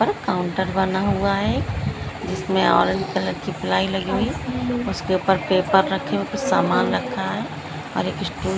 --और एक काउंटर बना हुआ है एक जिसमें ऑरेंज कलर की प्लाई लगी हुई उसके ऊपर पेपर रखे हो कुछ सामान रखा है और एक स्टूल --